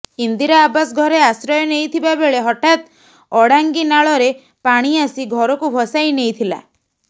ଇନ୍ଦିରା ଆବାସ ଘରେ ଆଶ୍ରୟ ନେଇଥିବା ବେଳେ ହଠାତ୍ ଅଡାଙ୍ଗି ନାଳରେ ପାଣି ଆସି ଘରକୁ ଭସାଇନେଇଥିଲା